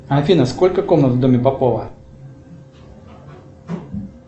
афина сколько комнат в доме попова